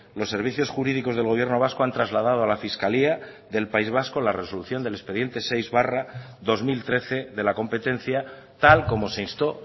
los servicios jurídicos del gobierno vasco han trasladado a la fiscalía del país vasco la resolución del expediente seis barra dos mil trece de la competencia tal como se instó